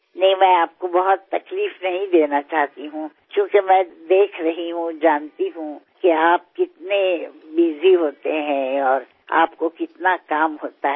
નહીં હું આપને બહુ તકલીફ આપવા માગતી નથી કારણકે હું જોઉં છું જાણું છું કે આપ કેટલા વ્યસ્ત હો છો અને આપને કેટલું કામ હોય છે